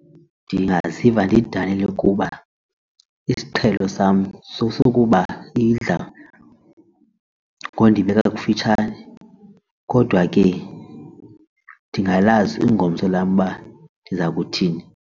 Ndingaziva ndidanile kuba isiqhelo sam sesokuba idla ngokundibeka kufitshane kodwa ke ndingalazi ingomso lam uba ndiza kuthini.